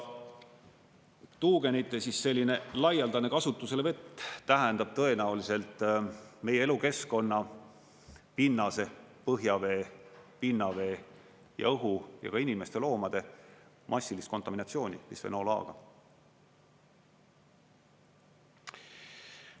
Tuugenite selline laialdane kasutuselevõtt tähendab tõenäoliselt meie elukeskkonna, pinnase, põhjavee, pinnavee ja õhu ja ka inimeste, loomade massilist kontaminatsiooni bisfenool A-ga.